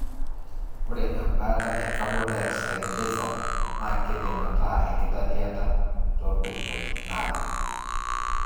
ore embaata e carbon dioxide laser na kindim ata enkitadiata topukunot napii.